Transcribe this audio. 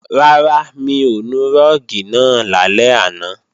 Rárá, mi ò nu rúùgì náà lálẹ́ àná